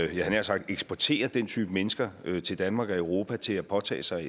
jeg havde nær sagt eksporterer den type mennesker til danmark og europa til at påtage sig